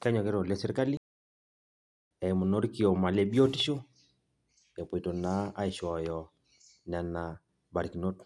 kenyokita oleng serkali eimu naa orkioma le biotisho, epoito naa aishooyo nena barikinot.